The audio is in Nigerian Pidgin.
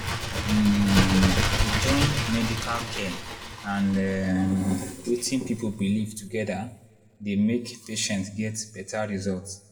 um to join medical care and um wetin people believe together dey make patients get better results.